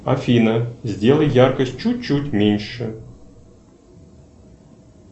афина сделай яркость чуть чуть меньше